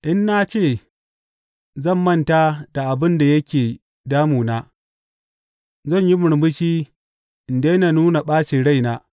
In na ce zan manta da abin da yake damu na, zan yi murmushi in daina nuna ɓacin rai,’